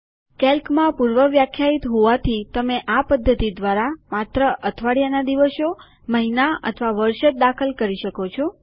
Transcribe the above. કેલ્કમાં પૂર્વ વ્યાખ્યાયિત હોવાથી તમે આ પદ્ધતિ દ્વારા માત્ર અઠવાડિયાના દિવસો મહિના અથવા વર્ષ જ દાખલ કરી શકો છો